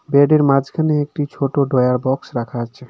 Bed এর মাঝখানে একটি ছোট ড্রয়ার বক্স রাখা আছে।